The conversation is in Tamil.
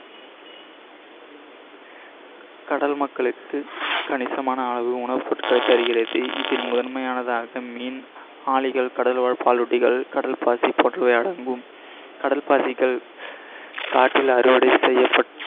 கடல் மக்களுக்கு கணிசமான அளவு உணவு பொருட்களை தருகிறது. இதில் முதன்மையானதாக மீன் கடல் வாழ் பாலூட்டிகள், கடல் பாசி போன்றவவையாகும். கடல் பாசிகள் காற்றில் அறுவடை செய்யப்பட்~